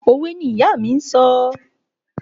Òwe ni ìyá mi ń sọ.